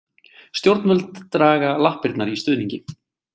Stjórnvöld draga lappirnar í stuðningi